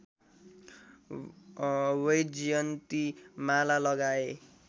वैजयन्ती माला लगाए